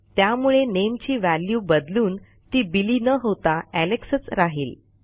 त्यामुळे nameची व्हॅल्यू बदलून ती बिली न होता एलेक्स च राहिल